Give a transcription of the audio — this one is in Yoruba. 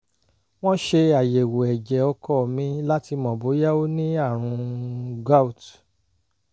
wọ́n ṣe àyẹ̀wò ẹ̀jẹ̀ ọkọ mi láti mọ̀ bóyá ó ní àrùn gout